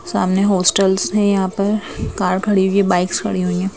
सामने हॉस्टल्स हैं यहां पर कार खड़ी हुई है बाइक्स खड़ी हुई हैं।